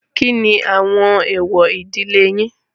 Kíni àwọn èwọ̀ ìdílé yín?